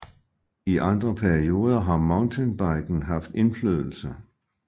I andre perioder har mountainbiken haft indflydelse